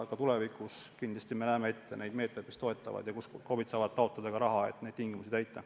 Ka tulevikus tulevad kindlasti meetmed, mis toetavad seda valdkonda ja mille raames KOV-id saavad taotleda raha, et neid tingimusi täita.